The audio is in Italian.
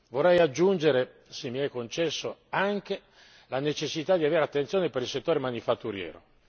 Vorrei aggiungere, se mi è concesso, anche la necessità di avere attenzione per il settore manifatturiero.